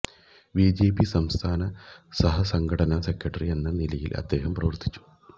BJP സംസ്ഥാന സഹസംഘടനാ secretary എന്ന നിലയിലും അദ്ദേഹം പ്രവര്ത്തിച്ചു